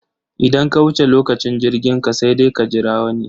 Idan ka wuce lokacin jirginka sai dai ka jira wani.